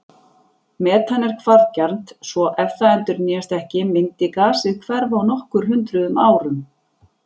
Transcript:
Metan er hvarfgjarnt svo ef það endurnýjast ekki myndi gasið hverfa á nokkur hundruð árum.